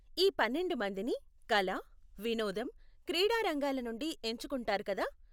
ఈ పన్నెండు మందిని కల, వినోదం, క్రీడా రంగాల నుండి ఎంచుకుంటారు కదా?